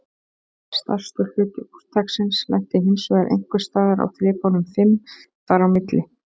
Stærstur hluti úrtaksins lenti hinsvegar einhvers staðar á þrepunum fimm þar á milli.